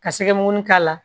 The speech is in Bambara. Ka sɛgɛmun k'a la